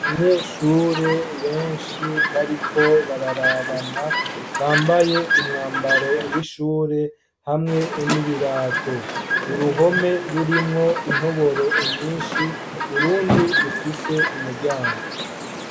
Abanyeshure benshi bariko bararabana, bambaye umwambaro w'ishure hamwe n'ibirato. Uruhome rurimwo intoboro nyinshi, urundi rufise umuryango.